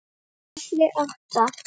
KAFLI ÁTTA